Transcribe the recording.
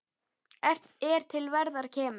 er til verðar kemur